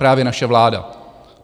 Právě naše vláda.